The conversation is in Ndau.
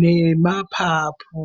nemapapu.